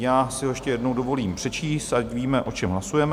Já si ho ještě jednou dovolím přečíst, ať víme, o čem hlasujeme.